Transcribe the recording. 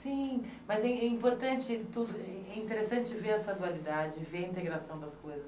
Sim, mas é é importante, é é interessante ver essa dualidade, ver a integração das coisas.